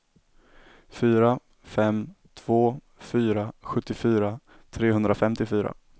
fyra fem två fyra sjuttiofyra trehundrafemtiofyra